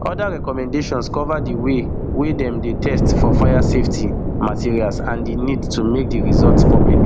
oda recommendations cover di way wey dem dey test for fire safety materials and and di need to make di results public